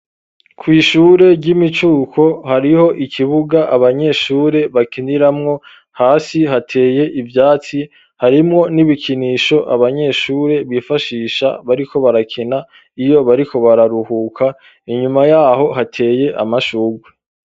Kw'ishure ry'imicuko hariho ikibuga abanyeshure bakiniramwo hasi hateye ivyatsi harimwo n'ibikinisho abanyeshure bifashisha bariko barakina iyo bariko bararuhuka inyuma yaho hateye amashurwe